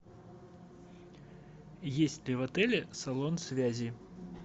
есть ли в отеле салон связи